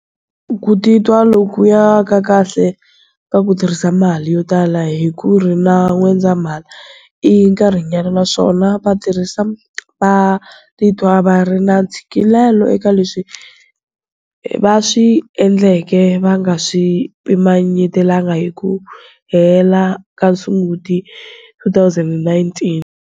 Ku titwa lokuya ka kahle ka ku tirhisa mali yo tala hi Hukuri na N'wendzamhala i nkarhinyana naswona vatirhisi va titwa va ri na ntshikelelo eka leswi va swi endleke va nga swi pimanyetalangi hi ku hela ka Sunguti 2019.